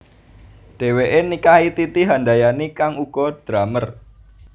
Dhèwèké nikahi Titi Handayani kang uga drummer